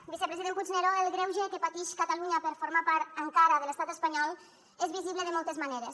vicepresident puigneró el greuge que patix catalunya per formar part encara de l’estat espanyol és visible de moltes maneres